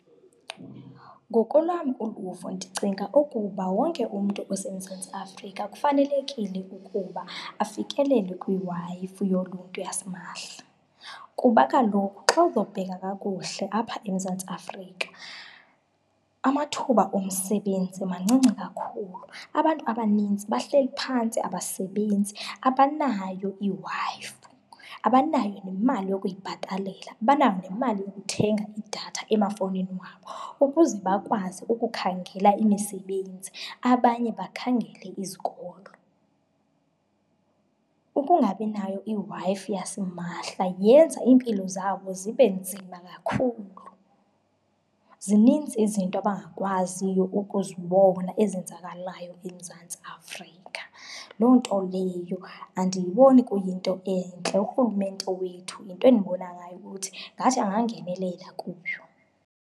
Ngokolwam uluvo ndicinga ukuba wonke umntu oseMzantsi Afrika kufanelekile ukuba afikelele kwiWi-Fi yoluntu yasimahla, kuba kaloku xa uzawubheka kakuhle apha eMzantsi Afrika amathuba omsebenzi mancinci kakhulu, abantu abaninzi bahleli phantsi abasebenzi. Abanayo iWi-Fi, abanayo nemali yokuyibhatalela, abanayo nemali yokuthenga idatha emafowunini wabo ukuze bakwazi ukukhangela imisebenzi abanye bakhangele izikolo. Ukungabinayo iWi-Fi yasimahla yenza iimpilo zabo zibe nzima kakhulu, zininzi izinto abangakwaziyo ukuzibona ezenzakalayo eMzantsi Afrika, loo nto leyo andiyiboni kuyinto entle. Urhulumente wethu into endibona ngayo ukuthi ngathi angangenelela kuyo.